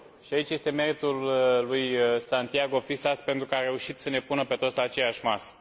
Și aici este meritul lui Santiago Fisas pentru că a reușit să ne pună pe toți la aceeași masă.